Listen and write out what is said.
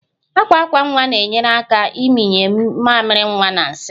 Akwa akwa nwa na-enyere aka ịmịnye mamịrị nwa na nsị